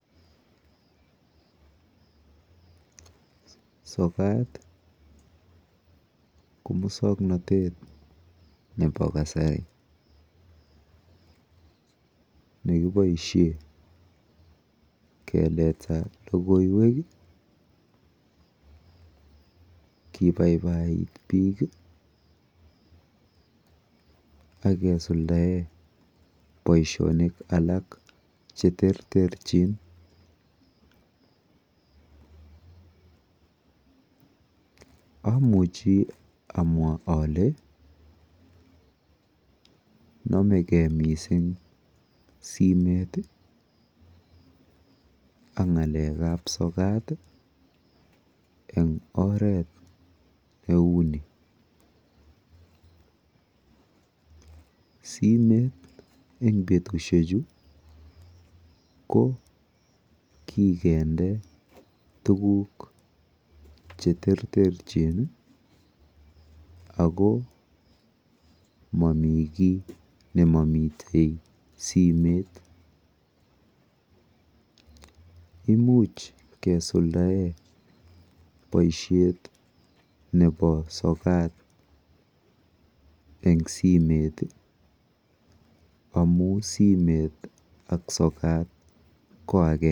Sokat ko muswoknotet nepa kasari ne kipaishe keleta logoiwek, kipaipait piik ak kesuldaen poishonik alak che terterchin. Amuchi amwa ale name ge missing' simet ak ng'alek ap solat en oret ne u ni, simet en petishechu kikende tuguk che terterchin ako mami ki ne mami simet. Imuch kesuldaen poishet nepa sokat en simet amu simet ak sokat ko agenge.